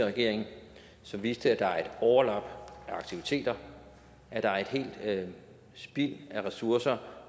regering som viste at der er et overlap af aktiviteter at der er et spild af ressourcer